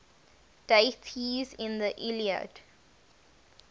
deities in the iliad